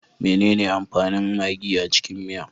Menene amfanin magi a cikin miya?